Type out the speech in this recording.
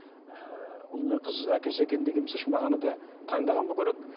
ыыы ұл мен қыз әкелсе екен деген мағынада таңдаған болу керек